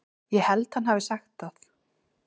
Ég held hann hafi sagt það.